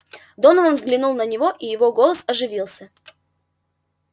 донован взглянул на него и его голос оживился